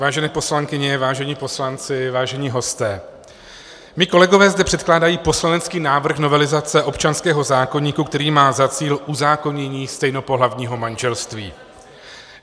Vážené poslankyně, vážení poslanci, vážení hosté, mí kolegové zde předkládají poslanecký návrh novelizace občanského zákoníku, který má za cíl uzákonění stejnopohlavního manželství.